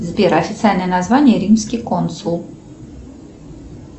сбер официальное название римский консул